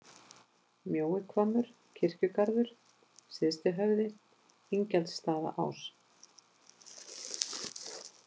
Mjóihvammur, Kirkjugaður, Syðstihöfði, Ingjaldsstaðaás